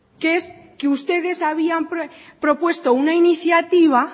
que es que ustedes habían propuesto una iniciativa